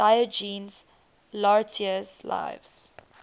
diogenes laertius's lives